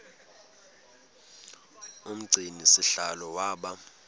umgcini sihlalo waba